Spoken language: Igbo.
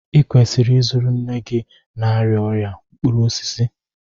ị kwesịrị ịzụrụ nne gị na-arịa ọrịa mkpụrụ osisi